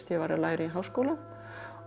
var að læra í háskóla